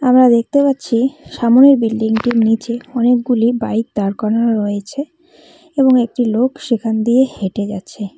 আমরা দেখতে পাচ্ছি সামনের বিল্ডিংটির নিচে অনেকগুলি বাইক দাঁড় করানো রইছে এবং একটি লোক সেখান দিয়ে হেঁটে যাচ্ছে।